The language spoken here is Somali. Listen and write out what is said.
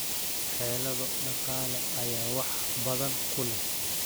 Xeelado dhaqaale ayaa wax badan ku leh.